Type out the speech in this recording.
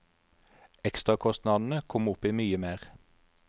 Ekstrakostnadene kom opp i mye mer.